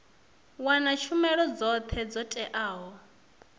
wana tshumelo dzothe dzo teaho